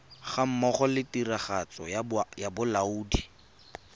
gammogo le tiragatso ya bolaodi